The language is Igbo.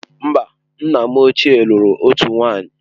Mba, nna m ochie lụrụ otu nwunye.